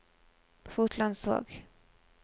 Fotlandsvåg